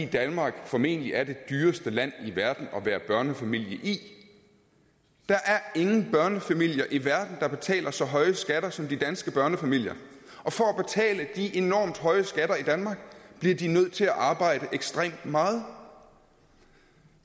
danmark formentlig er det dyreste land i verden at være børnefamilie i der er ingen børnefamilier i verden der betaler så høje skatter som de danske børnefamilier og for at de enormt høje skatter i danmark bliver de nødt til arbejde ekstremt meget